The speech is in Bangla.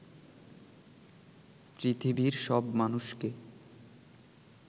পৃথিবীর সব মানুষকে